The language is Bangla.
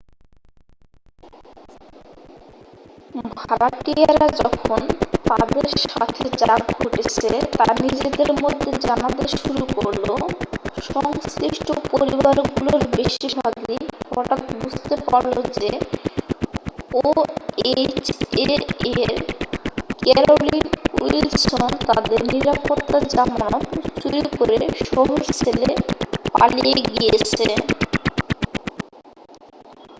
ভাড়াটিয়ারা যখন তাদের সাথে যা ঘটেছে তা নিজেদের মধ্যে জানাতে শুরু করল সংশ্লিষ্ঠ পরিবারগুলোর বেশিরভাগই হঠাৎ বুঝতে পারল যে ওএইচএ এর ক্যারোলিন উইলসন তাদের নিরাপত্তা জামানত চুরি করে শহর ছেড়ে পালিয়ে গেছে